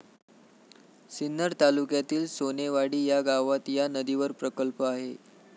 सिन्नर तालुक्यातील सोनेवाडी या गावात या नदीवर प्रकल्प आहे.